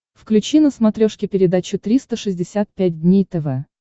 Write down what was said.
включи на смотрешке передачу триста шестьдесят пять дней тв